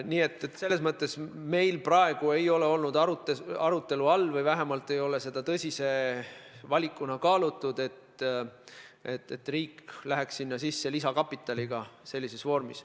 Nii et selles mõttes meil praegu ei ole olnud arutelu all või vähemalt ei ole seda tõsise valikuna kaalutud, et riik osaleks seal lisakapitaliga.